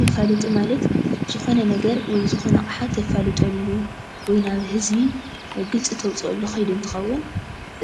መፋላጢ ማለት ዝኾነ ነገር ወይ ካዓ ኣቕሓ እተፋልጠሉ ወይ ናብ ህዝቢ ግልፂ እተውፀአሉ ከይዲ እትኸውን